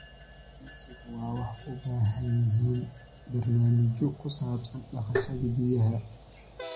Kalluumaysigu waxay u baahan yihiin barnaamijyo ku saabsan dhaqashada biyaha.